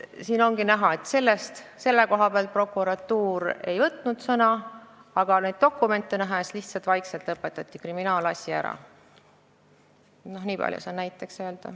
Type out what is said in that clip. Siin ongi näha, et selle juhtumi koha pealt prokuratuur ei võtnud sõna ning dokumentide kohaselt lõpetati kriminaalasi lihtsalt vaikselt ära.